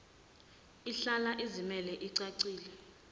ihlala izimele icacile